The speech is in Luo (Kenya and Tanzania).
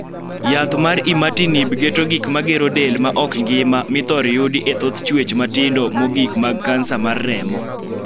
yath mar 'imatinib' geto gik ma gero del ma ok ngima mithor yudi e thoth chuech matindo mogikmag kansa mar remo.